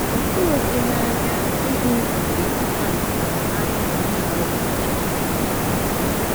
Ọ́ tụghị gị n’anya ịhụ ìgwè kpakpando na mbara igwe ahụ gbara ọchịchịrị?